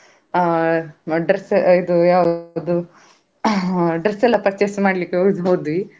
ಅಹ್ dress ಇದು ಯಾವುದು ಅಹ್ dress ಎಲ್ಲ purchase ಮಾಡ್ಲಿಕ್ಕೆ ಹೋದ್ವಿ.